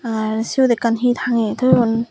ar siyut ekkan he tangeni toyun.